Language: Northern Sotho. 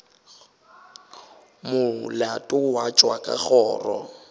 molato wa tšwa ka kgoro